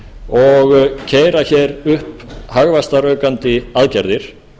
og keyra hér upp hagvaxtaraukandi aðgerðir